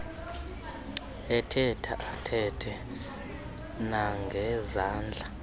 ethetha athethe nangezandla